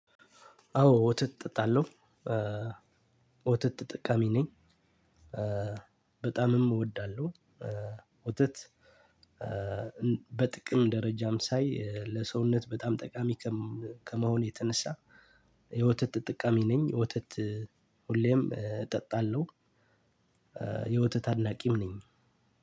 አዎ ወተት እጠጣለሁ። ወተት ተጠቃሚ ነኝ። በጣምም እወዳለሁ። ውተት በጥቅም ደረጃም ሳይ ለሰውነት በጣም ጠቃሚ ከመሆኑ የተነሳ የወተት ተጠቃሚ ነኝ። ወተት ሁሌም እጠጣለሁ። የወተት አድናቂም ነኝ።